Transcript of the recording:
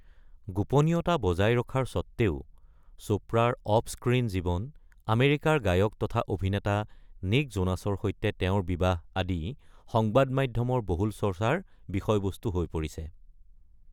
গোপনীয়তা বজাই ৰখাৰ স্বত্ত্বেও, চোপ্ৰাৰ অফ-স্ক্ৰীণ জীৱন, আমেৰিকাৰ গায়ক তথা অভিনেতা নিক্ জোনাছৰ সৈতে তেওঁৰ বিবাহ আদি, সংবাদ মাধ্যমৰ বহুল চৰ্চাৰ বিষয়বস্তু হৈ পৰিছে।